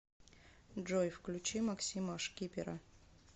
джой включи максима шкипера